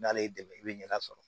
N'ale y'i dɛmɛ i bɛ ɲɛda sɔrɔ